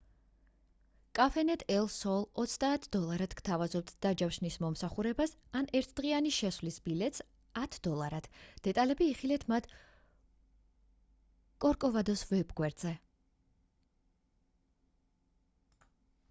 cafenet el sol 30 აშშ დოლარად გთავაზობთ დაჯავშნის მომსახურებას ან ერთდღიანი შესვლის ბილეთს 10 აშშ დოლარად დეტალები იხილეთ მათ კორკოვადოს ვებ გვერდზე